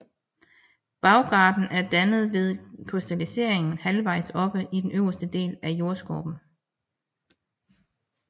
Bjergarten er dannet ved krystallisering halvvejs oppe i den øverste del af jordskorpen